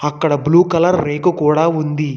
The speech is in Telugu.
అక్కడ బ్లూ కలర్ రేకు కూడా ఉంది.